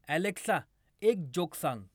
Alexa एक joke सांग